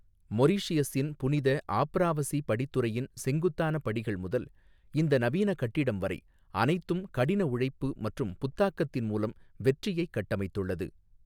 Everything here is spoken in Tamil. மொரீஷியஸின் புனித ஆப்ராவசி படித்துறையின் செங்குத்தான படிகள் முதல், இந்த நவீன கட்டிடம் வரை, அனைத்தும் கடினஉழைப்பு மற்றும் புத்தாக்கத்தின் மூலம் வெற்றியை கட்டமைத்துள்ளது.